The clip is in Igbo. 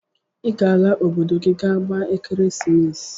i ga ala obodo gi je gba ekeresimesi!!